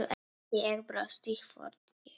Ég brosti, hvort ég var!